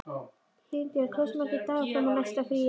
Himinbjörg, hversu margir dagar fram að næsta fríi?